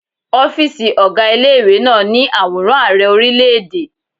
Ọ́fíìsì ọgá ilé ìwé náà ní àwòrán àrẹ orílẹ̀ẹ̀dè.